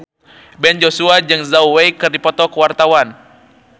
Ben Joshua jeung Zhao Wei keur dipoto ku wartawan